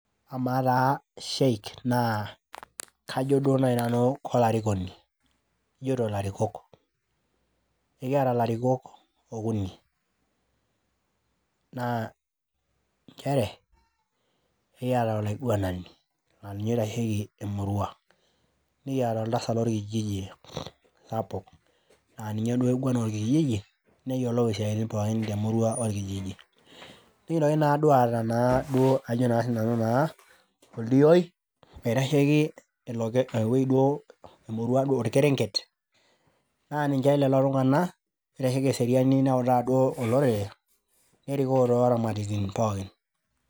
Amaa taa sheik naa kajo duo nai nanu keloraikoni ajoito ilarikok . Ekiata ilarikok okuni naa nchere ekiata olaiguanani laa ninye oitasheiki emurua, nikiata oltasat lorkijiji hapo laa ninye duo oigwan orkijiji neyiolou isiatin pookin orkijiji. Nikintoki naaduo aata ajo naa sinanu naaa oldioi oitasheiki, emurua duo, orkerenket naa ninche lelo tunganak oitasheiki eseriani neutaa duo olorere, nerikoo tolaramatitin pookin.